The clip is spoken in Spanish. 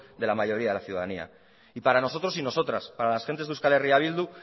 de la mayoría de la ciudadanía y para nosotros y nosotras para las gentes de euskal herria bildu